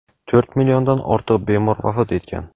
to‘rt milliondan ortiq bemor vafot etgan.